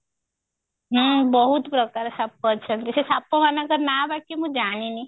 ହୁଁ ବହୁତ ପ୍ରକାର ସାପ ଅଛନ୍ତି ସେ ସାପ ମାନଙ୍କର ନା ବାକି ମୁଁ ଜାଣିନି